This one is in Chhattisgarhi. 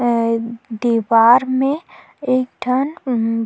अअअ दीवार में एक ठन उम्म --